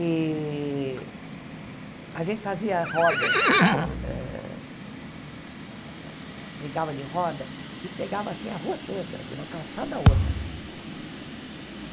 E a gente fazia rodas, eh brincava de roda, que pegava assim a rua toda, de uma calçada a outra.